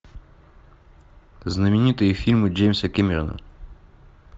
знаменитые фильмы джеймса кэмерона